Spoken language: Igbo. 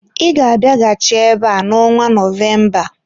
Ị ga-abịaghachi ebe a n'ọnwa Novemba!